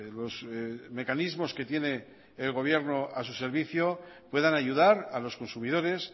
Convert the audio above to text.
los mecanismos que tiene el gobierno a su servicio puedan ayudar a los consumidores